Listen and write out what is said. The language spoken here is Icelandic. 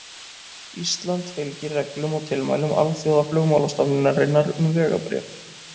Ísland fylgir reglum og tilmælum Alþjóðaflugmálastofnunarinnar um vegabréf.